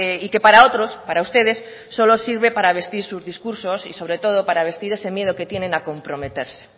y que para otros para ustedes solo sirve para vestir sus discursos y sobre todo para vestir ese miedo que tienen a comprometerse